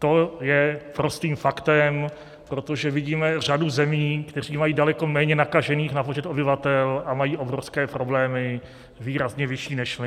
To je prostým faktem, protože vidíme řadu zemí, které mají daleko méně nakažených na počet obyvatel a mají obrovské problémy, výrazně vyšší než my.